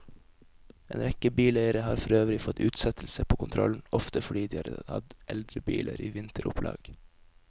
En rekke bileiere har forøvrig fått utsettelse på kontrollen, ofte fordi de har hatt eldre biler i vinteropplag.